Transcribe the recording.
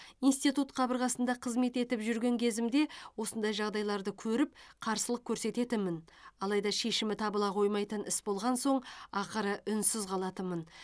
институт қабырғасында қызмет етіп жүрген кезімде осындай жағдайларды көріп қарсылық көрсететінмін алайда шешімі табыла қоймайтын іс болған соң ақыры үнсіз қалатынмын